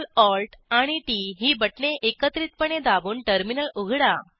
CTRLALTT ही बटणे एकत्रितपणे दाबून टर्मिनल उघडा